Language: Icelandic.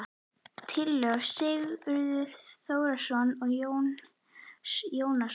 Tillögur Sigurðar Þórarinssonar og Jóns Jónssonar